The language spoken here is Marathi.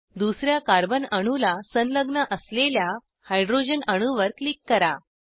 दुसर्या कार्बन अणूला संलग्न असलेल्या हायड्रोजन अणूवर क्लिक करा